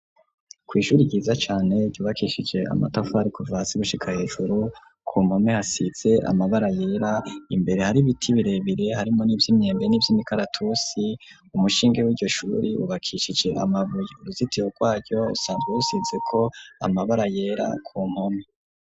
Kw''ishuri ryiza cane, ryubakishije amatafari, kuva hasi, gushika hejuru, ku mpome, hasize amabara yera; imbere, hari ibiti birebire, harimwo n'ivy'imyembe, n'ivy'imikaratusi; umushinge w'iryo shuri, wubakishije amabuye; uruzitiro rwaryo, rusanzwe rusizeko, amabara yera, ku mpome.